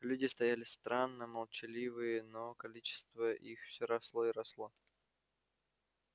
люди стояли странно молчаливые но количество их всё росло и росло